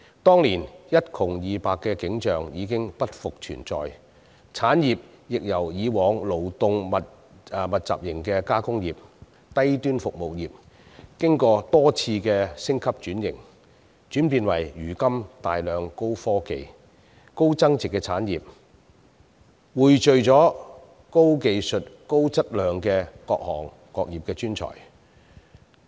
當年一窮二白的景象已經不復存在，產業亦由以往勞動密集型的加工業、低端服務業，經過多次升級轉型，轉變為如今的大量高科技、高增值產業，匯聚了高技術、高質量的各行各業專才。